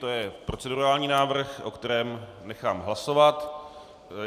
To je procedurální návrh, o kterém nechám hlasovat.